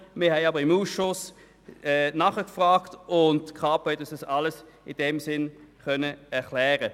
Wir haben seitens des Ausschusses nachgefragt, und die Kapo konnte die Gründe dafür erklären.